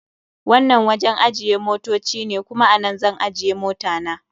Wannan wajen ajiye motoci ne, kuma a nan zan ajje mota na.